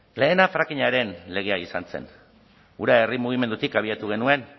lehena frackingaren legea izan zen hura herri mugimendutik abiatu genuen